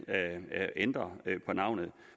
ændre navnet